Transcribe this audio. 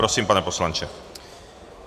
Prosím, pane poslanče.